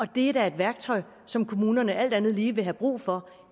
det er da et værktøj som kommunerne alt andet lige vil have brug for